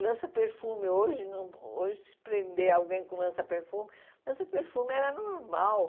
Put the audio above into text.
Lança-perfume, hoje, não hoje se prender alguém com lança-perfume, lança-perfume era normal.